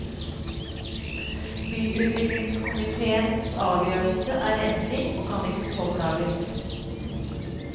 Byutviklingskomitéens avgjørelse er endelig, og kan ikke påklages.